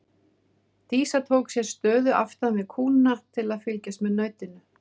Dísa tók sér stöðu aftan við kúna til að fylgjast með nautinu.